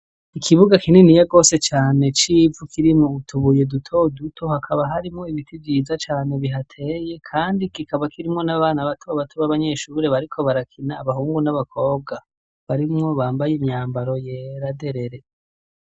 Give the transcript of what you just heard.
Ikibuga kinini yagose cane c'ivu kirimwo utubuye dutoduto hakaba harimwo ibiti vyiza cane bihateye, kandi ikikabo kirimwo n'abana batobato b'abanyeshuure bariko barakina abahungu n'abakobwa barimwo bambaye imyambaro yeraderere.